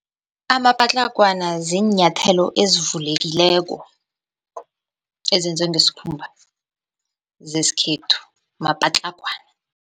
Amapatlagwana ziinyathelo ezivulekileko, ezenzwe ngesikhumba, zesikhethu mapatlagwana.